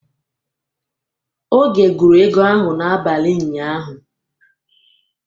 Oge gụrụ ego ahụ n'abalị ụnyaahụ.